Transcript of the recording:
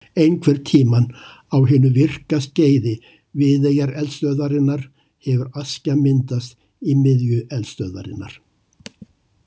Einhvern tímann á hinu virka skeiði Viðeyjareldstöðvarinnar hefur askja myndast í miðju eldstöðvarinnar.